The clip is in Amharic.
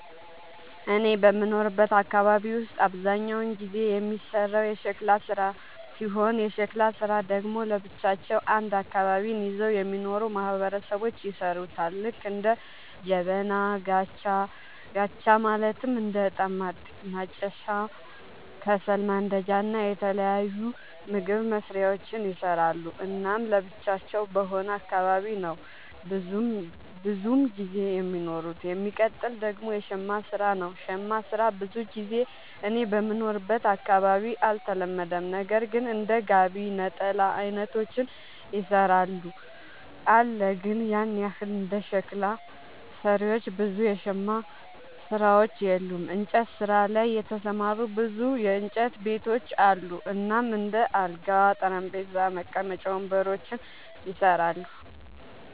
እኔ በምኖርበት አካባቢ ውስጥ አብዛኛውን ጊዜ የሚሰራው የሸክላ ስራ ሲሆን የሸክላ ስራ ደግሞ ለብቻቸው አንድ አካባቢን ይዘው የሚኖሩ ማህበረሰቦች ይሠሩታል ልክ እንደ ጀበና፣ ጋቻ ማለትም እንደ እጣን ማጨሻ፣ ከሰል ማንዳጃ እና የተለያዩ ምግብ መስሪያዎችን ይሰራሉ። እናም ለብቻቸው በሆነ አካባቢ ነው ብዙም ጊዜ የሚኖሩት። የሚቀጥል ደግሞ የሸማ ስራ ነው, ሸማ ስራ ብዙ ጊዜ እኔ በምኖርበት አካባቢ አልተለመደም ነገር ግን እንደ ጋቢ፣ ነጠላ አይነቶችን ይሰራሉ አለ ግን ያን ያህል እንደ ሸክላ ሰሪዎች ብዙ የሸማ ሰሪዎች የሉም። እንጨት ስራ ላይ የተሰማሩ ብዙ የእንጨት ቤቶች አሉ እናም እንደ አልጋ፣ ጠረጴዛ፣ መቀመጫ ወንበሮችን ይሰራሉ።